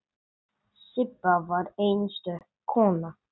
Sibba var einstök kona.